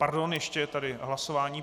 Pardon, ještě je tady hlasování.